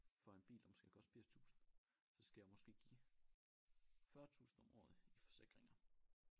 For en bil der måske har kostet 80 tusind så skal jeg måske give 40 tusind om året i forsikringer